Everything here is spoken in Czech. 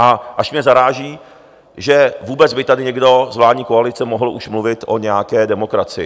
A až mě zaráží, že vůbec by tady někdo z vládní koalice mohl už mluvit o nějaké demokracii.